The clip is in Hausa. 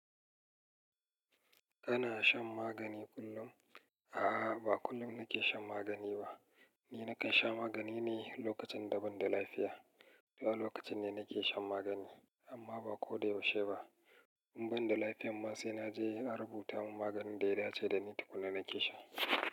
Kana shan magani kullum? A'a, ba kullum nake shan magani ba. Ni nakan sha magani ne lokacin da ban da lafiya. Zuwa lokacin ne nake shan magani amma ba ko da yaushe ba. In ban da lafiya ma sai naje a rubuta mun maganin da ya dace da ni tukuna nake sha.